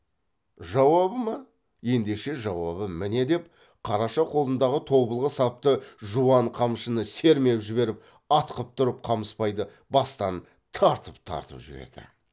жауабы ма ендеше жауабы міне деп қараша қолындағы тобылғы сапты жуан қамшыны сермеп жіберіп атқып тұрып қамысбайды бастан тартып тартып жіберді